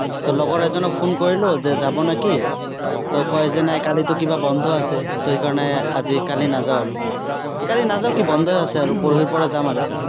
ত' লগৰ এজনক phone কৰিলো, যে যাব নে কি। তেওঁ কয় যে, নাই কালিতো কিবা বন্ধ আছে। তো সেইকাৰণে আজি-কালি নাযাঁও আৰু। ত' কালি নাযাওঁ কি, বন্ধই আছে আৰু, পৰহিৰ পৰা যাম আৰু।